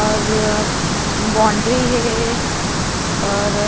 और बाउंड्री हे और--